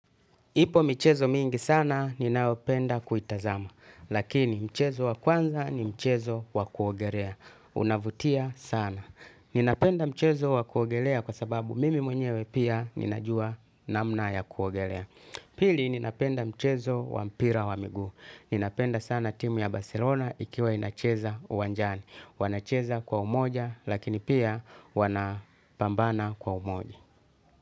Ipo mchezo mingi sana ninaopenda kuitazama. Lakini mchezo wa kwanza ni mchezo wa kuogelea. Unavutia sana. Ninapenda mchezo wa kuogelea kwa sababu mimi mwenyewe pia ninajua namna ya kuogelea. Pili ninapenda mchezo wa mpira wa miguu. Ninapenda sana timu ya Barcelona ikiwa inacheza uwanjani. Wanacheza kwa umoja lakini pia wanapambana kwa umoja.